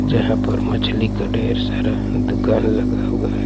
जहाँ पर मछली का ढेर सारा दुकान लगा हुआ--